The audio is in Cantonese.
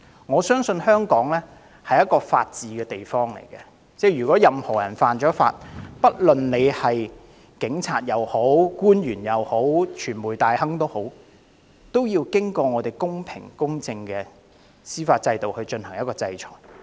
我相信香港是法治之區，任何人犯法，不論是警員、官員或傳媒大亨，都應在公平公正的司法制度下得到制裁。